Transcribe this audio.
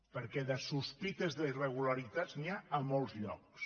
perquè de sospites de irregularitats n’hi ha a molts llocs